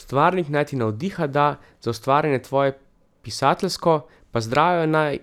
Stvarnik naj ti navdiha da za ustvarjanje tvoje pisateljsko pa zdravja naj